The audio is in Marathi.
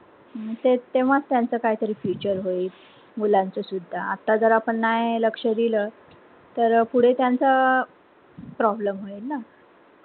तेच तेव्हाच त्यांच काही तरी future होईल मुलांच सुद्धा आत्ता जर आपण नाय लक्ष दिल तर पुढे त्यांचा problem होईल ना.